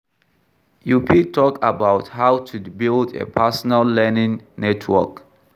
You fit talk about how to build a personal learning network.